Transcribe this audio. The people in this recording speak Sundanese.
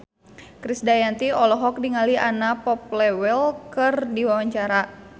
Krisdayanti olohok ningali Anna Popplewell keur diwawancara